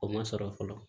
O ma sɔrɔ fɔlɔ